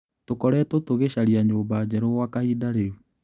Tũkoretwo tũgĩcaria nyũmba njerũ gwa kahinda rĩũ.